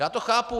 Já to chápu.